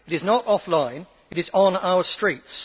It is not offline it is on our streets.